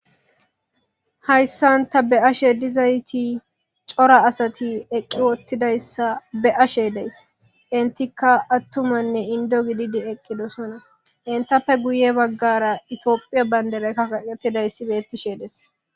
hayssan ta be'ashe dizayti cora asati eqqi wottidayssa be'ashe days, intikka attumanne indo gididi eqqidosana, intappe guye baggara itiophiya banderekka aqetidayssi beettishe des.